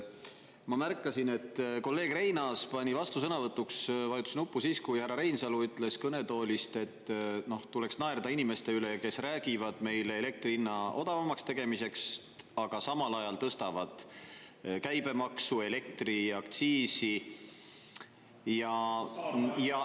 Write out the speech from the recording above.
Ma märkasin, et kolleeg Reinaas pani vastusõnavõtuks, vajutas nuppu siis, kui härra Reinsalu ütles kõnetoolist, et tuleks naerda inimeste üle, kes räägivad meile elektri hinna odavamaks tegemisest, aga samal ajal tõstavad käibemaksu, elektriaktsiisi.